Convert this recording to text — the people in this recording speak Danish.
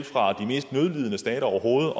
fra de mest nødlidende stater overhovedet